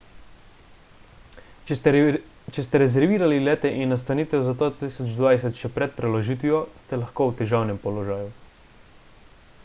če ste rezervirali lete in nastanitev za 2020 še pred preložitvijo ste lahko v težavnem položaju